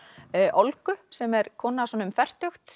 Olgu sem er kona svona um fertugt